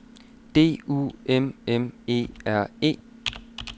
D U M M E R E